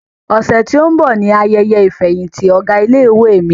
Ọ̀sẹ̀ tó ń bọ̀ ni ayẹyẹ ìfẹ̀yìntì ọ̀gá ilé-ìwé mi.